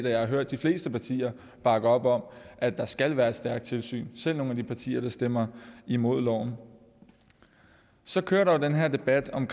jeg har hørt de fleste partier bakke op om at der skal være et stærkt tilsyn selv fra nogle af de partier der stemmer imod loven så kører der jo den her debat om